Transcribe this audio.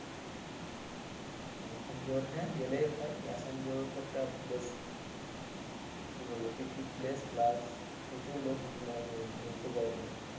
মেসেঞ্জোর হ্যাঁ গেলেই হয় মেসেঞ্জোর তো একটা বেশ কি বলবো picnic place plus প্রচুর লোক মানে ঘুরতে যায় ওখানে।